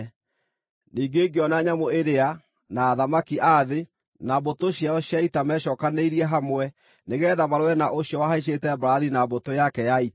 Ningĩ ngĩona nyamũ ĩrĩa, na athamaki a thĩ, na mbũtũ ciao cia ita mecookanĩrĩirie hamwe nĩgeetha marũe na ũcio wahaicĩte mbarathi na mbũtũ yake ya ita.